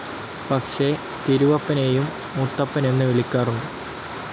പക്ഷേ തിരുവപ്പനെയും മുത്തപ്പൻ എന്ന് വിളിക്കാറുണ്ട്.